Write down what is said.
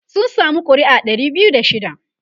sun samu ƙuri'a Dari biyu da shida